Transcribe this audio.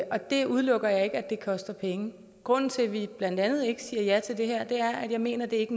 og det udelukker jeg ikke koster penge grunden til at vi blandt andet ikke siger ja til det her er at jeg mener at det ikke